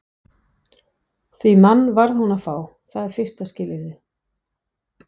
Því mann varð hún að fá, það er fyrsta skilyrðið.